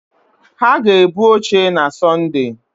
Ha ga-ebu oche na Sọnde.